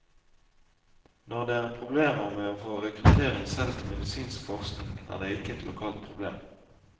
Når det er problemer med å få rekruttering selv til medisinsk forskning, er ikke dette et lokalt problem.